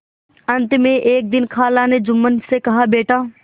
अंत में एक दिन खाला ने जुम्मन से कहाबेटा